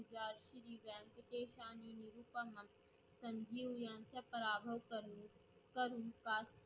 संजीव यांचा पराभव करून करून बा